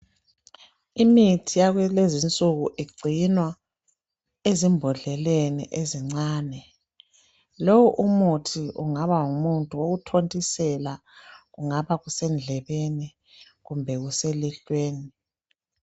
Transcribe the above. Imithi yakulezi nsuku igcinwa ezimbodleleni ezincane lowu umuthi ungaba ngumuthi wokuthontisela kungaba kusendlebeni kumbe kuselihlweni.